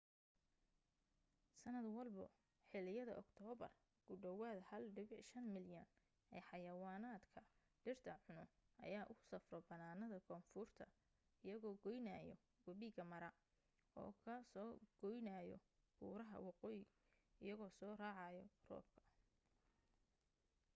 sanad walbo xiliyada oktoobar ku dhawaad 1.5 milyan ee xayawaanka dhirta cuno ayaa u safro bannaanada koonfurta iyagoo goynaayo wabiga mara oo ka soo goynaayo buuraha waqooyi iyagoo soo raacayo roobka